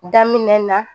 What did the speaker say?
Daminɛ na